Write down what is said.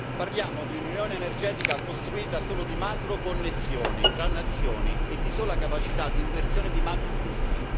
Parliamo di un'unione energetica costruita solo di macro connessioni tra nazioni e di sola capacità di inversione di macro flussi